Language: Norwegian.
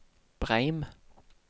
Breim